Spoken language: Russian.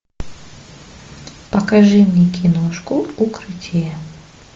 покажи мне киношку укрытие